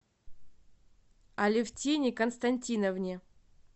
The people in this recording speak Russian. алевтине константиновне